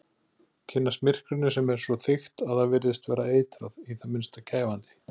Kynnast myrkrinu sem er svo þykkt að það virðist vera eitrað, í það minnsta kæfandi.